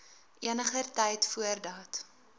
eniger tyd voordat